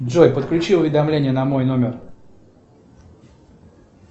джой подключи уведомления на мой номер